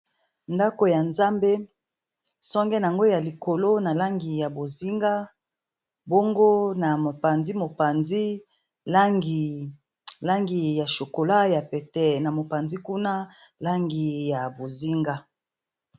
Ndaku ya Nzambe, songe n"ango ya likolo na langi ya bozinga, bongo na mopanzi mopanzi langi ya chokola ya pete, na mopanzi kuna langi ya bozinga.